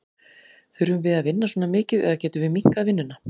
Þurfum við að vinna svona mikið eða getum við minnkað vinnuna?